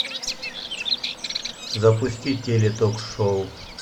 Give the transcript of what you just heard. запусти теле ток шоу